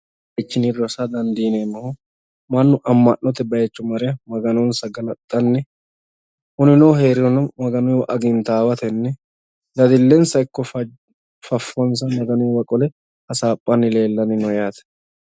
Kawiichinni rosa dandiineemmohu mannu amma'note bayiicho mare maganonsa galaxxanni huninohu hee'rirono maganu'ya agintaawatenni daddillensa ikko faffonsa magnu'ya qole hasaaphanni leellanni no yaate.